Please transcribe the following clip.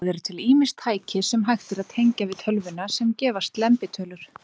Það eru til ýmis tæki, sem hægt er að tengja við tölvuna, sem gefa slembitölur.